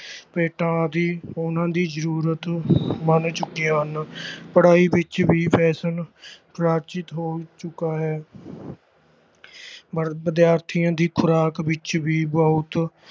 ਪੈਂਟਾਂ ਆਦਿ ਉਨ੍ਹਾਂ ਦੀ ਜ਼ਰੂਰਤ ਬਣ ਚੁੱਕੀਆਂ ਹਨ ਪੜ੍ਹਾਈ ਵਿੱਚ ਵੀ fashion ਰਚਿਤ ਹੋ ਚੁੱਕਾ ਹੈ ਵ ਵਿਦਿਆਰਥੀਆਂ ਦੀ ਖ਼ੁਰਾਕ ਵਿੱਚ ਵੀ ਬਹੁਤ